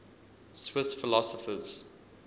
swiss philosophers